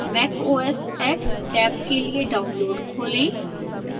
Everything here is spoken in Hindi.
mac os x टैब के लिए download खोलें